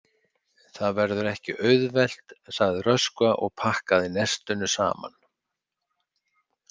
Það verður ekki auðvelt, sagði Röskva og pakkaði nestinu saman.